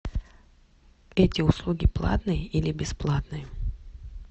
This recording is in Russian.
эти услуги платные или бесплатные